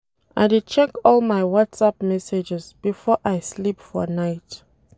I dey check all my Whatsapp messages before I sleep for night.